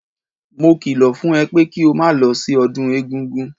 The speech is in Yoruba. Mo kìlọ̀ fún ẹ pé kí o máa lọ sí ọdún egúngún!